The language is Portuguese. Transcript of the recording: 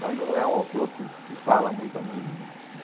Mas não é um autor que que fala muito a mim né.